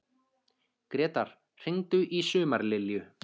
Gretar, hringdu í Sumarlilju.